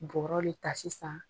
Bɔrɔ le ta sisan.